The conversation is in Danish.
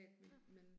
Ja